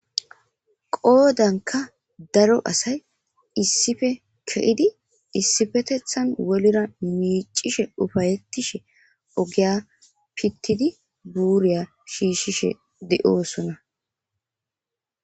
qoodanka daro asay issife ke'idi issifetethan wolira miicishe ufayettishe ogiya pittidi buuriya shiishshishe de7oosona